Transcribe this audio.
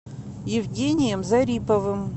евгением зариповым